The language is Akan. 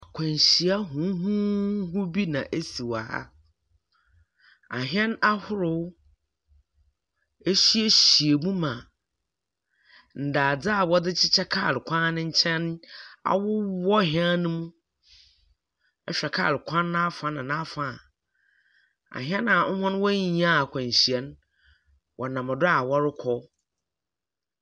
Akwanhyia huhuihu bi na esi wɔ ha, ahɛn ahorow ehyiahyia mu ma ndadze a wɔdze hyehyɛ kaar kwan ne nkyɛn awowɔ hɛn no mu. Ehwɛ kaar kwan n’afa na n’afa a, ahɛn a hɔn woennya akwanhyia no, wɔnam do wɔrokɔ.